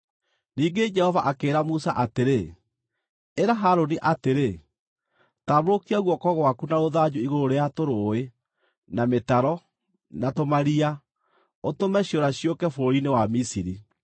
Ningĩ Jehova akĩĩra Musa atĩrĩ, “Ĩra Harũni atĩrĩ, ‘Tambũrũkia guoko gwaku na rũthanju igũrũ rĩa tũrũũĩ, na mĩtaro, na tũmaria, ũtũme ciũra ciũke bũrũri-inĩ wa Misiri.’ ”